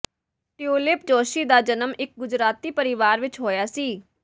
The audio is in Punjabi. ਟਿਉਲਿਪ ਜੋਸ਼ੀ ਦਾ ਜਨਮ ਇੱਕ ਗੁਜਰਾਤੀ ਪਰਿਵਾਰ ਵਿੱਚ ਹੋਇਆ ਸੀ